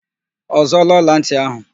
Ọ zụọọla ọlantị ahụ?